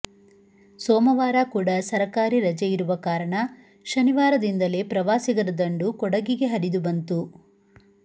ಸೋಮವಾರ ಕೂಡ ಸರಕಾರಿ ರಜೆ ಇರುವ ಕಾರಣ ಶನಿವಾರದಿಂದಲೇ ಪ್ರವಾಸಿಗರ ದಂಡು ಕೊಡಗಿಗೆ ಹರಿದು ಬಂತು